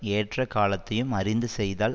ஏற்ற காலத்தையும் அறிந்து செய்தால்